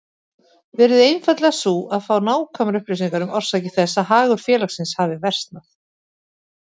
verið einfaldlega sú að fá nákvæmar upplýsingar um orsakir þess að hagur félagsins hafi versnað.